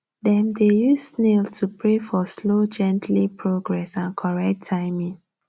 dem dey use snail to pray for slow gently progrss and correct timing